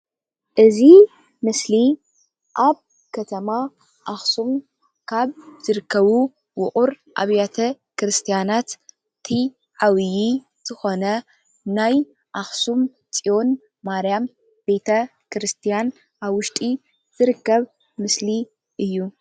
እዚ ምስሊ ኣብ ከተማ ኣክሱም ካብ ዝርከቡ ውቁር ኣባቴ ክርስትያን እቲ ዓብይ ዝኾነ ናይ ኣክሱም ፅዮን ማርያም ቤተ ክርስትያን ኣብ ውሽጢ ዝርከም ምስሊ እዩ።